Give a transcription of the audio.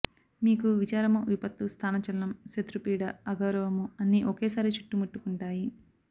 మీకు విచారము విపత్తు స్థానచలనం శత్రుపీడ అగౌరవము అన్ని ఒకేసారి చుట్టుముట్టు కుంటాయి